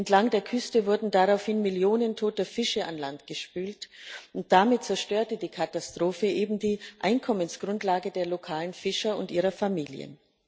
Entlang der Küste wurden daraufhin Millionen toter Fische an Land gespült. Damit zerstörte die Katastrophe eben die Einkommensgrundlage der lokalen Fischer und ihrer Familien.